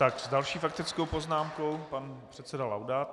Tak, s další faktickou poznámkou pan předseda Laudát.